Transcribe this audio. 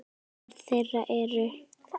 Börn þeirra eru